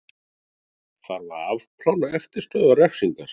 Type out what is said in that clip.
Þarf að afplána eftirstöðvar refsingar